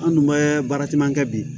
An dun bɛ baara caman kɛ bi